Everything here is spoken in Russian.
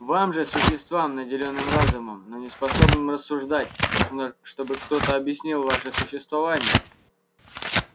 вам же существам наделённым разумом но не способным рассуждать нужно чтобы кто то объяснил ваше существование